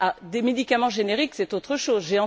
Des médicaments génériques, c'est autre chose.